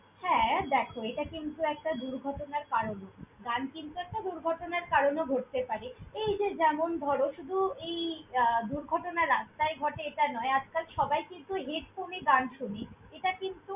হ্যাঁ, দ্যাখো! এটা কিন্তু একটা দুর্ঘটনার কারণ। গান কিন্তু একটা দুর্ঘটনার কারণও ঘটতে পারে। এই যে যেমন ধরো, শুধু এই আহ দুর্ঘটনা রাস্তায় ঘটে এটা নয়। আজকাল সবাই কিন্তু headphone এ গান শোনে, এটা কিন্তু।